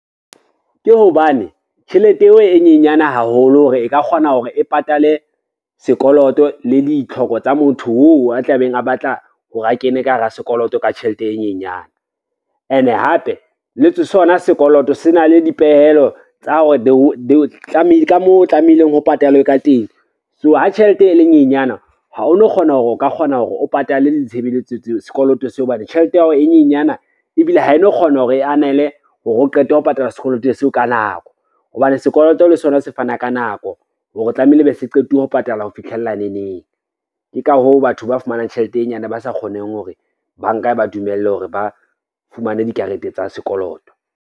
Ke hobane tjhelete eo e nyenyana haholo hore e ka kgona hore e patale sekoloto le ditlhoko tsa motho oo a tlabeng a batla hore a kene ka hara sekoloto ka tjhelete e nyenyan. Ene hape le sona sekoloto se na le dipehelo tsa hore ka moo o tlamehileng ho patalwe ka teng, so ha tjhelete e le nyenyana ha o no kgona hore o ka kgona hore o patale sekoloto seo hobane tjhelete ya hao e nyenyana, ebile ha e no kgona hore e anele hore o qete ho patala sekoloto seo ka nako, hobane sekoloto le sona se fana ka nako hore tlamehile e be se qetile ho patalwa ho fitlhella neneng. Ke ka hoo batho ba fumanang tjhelete e nyane ba sa kgoneng hore banka e ba dumelle hore ba fumane dikarete tsa sekoloto.